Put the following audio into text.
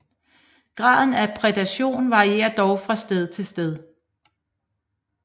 Graden af prædation varierer dog fra sted til sted